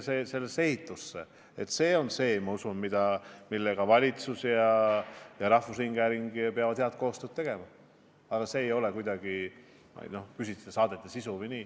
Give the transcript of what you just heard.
Selle nimel, ma usun, peavad valitsus ja rahvusringhääling head koostööd tegema, aga see ei puuduta kuidagi saadete sisu.